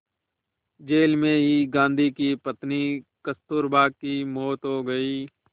jail में ही गांधी की पत्नी कस्तूरबा की मौत हो गई